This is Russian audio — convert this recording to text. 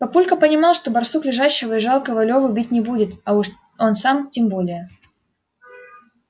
папулька понимал что барсук лежащего и жалкого леву бить не будет а уж он сам тем более